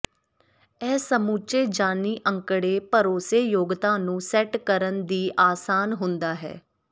ਇਹ ਸਮੁੱਚੇ ਜਾਨੀ ਅੰਕੜੇ ਭਰੋਸੇਯੋਗਤਾ ਨੂੰ ਸੈੱਟ ਕਰਨ ਦੀ ਆਸਾਨ ਹੁੰਦਾ ਹੈ